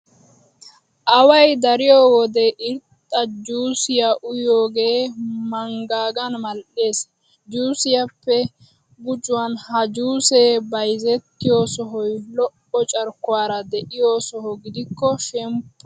Away dariyo wode irxxa juusiya uyiyogee manggaagan mal"ees. Juusiyappe gujuwan ha juusee bayzettiyo sohoy lo"o carkkuwara de'iya soho gidikko shemppoy wol"i gelees.